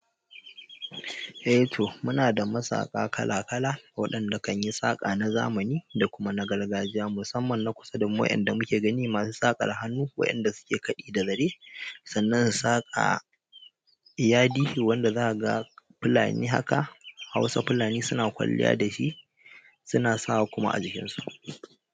Eh to muna da masaƙa kala kala waɗanda kanyi saƙa na zamani da kuma na gargajiya musamman na kusa da mu wanda muke gani masu saƙar hannu waɗanda suke kaɗi da zare sannan su saƙa yadi wanda za'a ga fulani haka Hausa fulani suna kwalliya da shi suna sawa kuma a jikinsu.